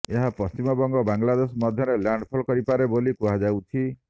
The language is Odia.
ଏହା ପଶ୍ଚିମବଙ୍ଗ ବାଂଲାଦେଶ ମଧ୍ୟରେ ଲ୍ୟାଣ୍ଡଫଲ୍ କରିପାରେ ବୋଲି କୁହାଯାଉଛି